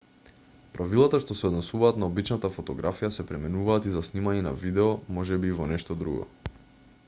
правилата што се однесуваат на обичната фотографија се применуваат и за снимање на видео можеби и во нешто друго